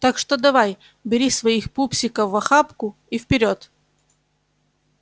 так что давай бери своих пупсиков в охапку и вперёд